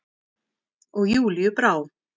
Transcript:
Og Júlíu brá.